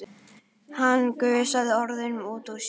Hann gusaði orðunum út úr sér.